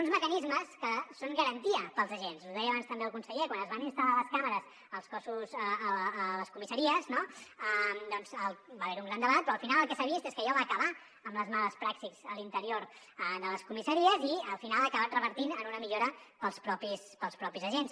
uns mecanismes que són garantia per als agents ho deia abans també el conseller quan es van instal·lar les càmeres a les comissaries no va haver hi un gran debat però al final el que s’ha vist és que allò va acabar amb les males praxis a l’interior de les comissaries i al final ha acabat revertint en una millora per als propis agents